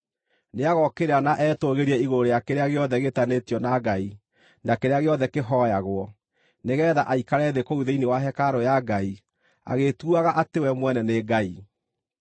Nĩagokĩrĩra na etũũgĩrie igũrũ rĩa kĩrĩa gĩothe gĩĩtanĩtio na Ngai na kĩrĩa gĩothe kĩhooyagwo, nĩgeetha aikare thĩ kũu thĩinĩ wa hekarũ ya Ngai, agĩĩtuuaga atĩ we mwene nĩ Ngai.